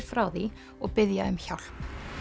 frá því og biðja um hjálp